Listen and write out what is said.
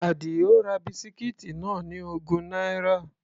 Àdìó ra bisikíìtì náà ní ogún náírà.